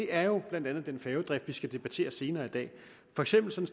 er jo blandt andet den færgedrift vi skal debattere senere i dag for eksempel